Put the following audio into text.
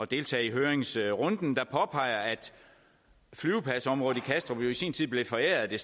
deltage i høringsrunden og han påpeger at flyvepladsområdet i kastrup jo i sin tid blev foræret det